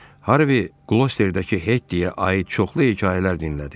Harvi Qlosterlədəki Hettiyə aid çoxlu hekayələr dinlədi.